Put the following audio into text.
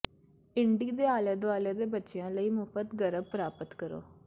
indie ਦੇ ਆਲੇ ਦੁਆਲੇ ਦੇ ਬੱਚਿਆਂ ਲਈ ਮੁਫ਼ਤ ਗਰਬ ਪ੍ਰਾਪਤ ਕਰੋ